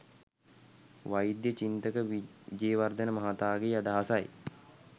වෛද්‍ය චින්තක විජේවර්ධන මහතාගේ අදහසයි